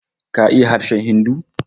KA iya harshen Hindu?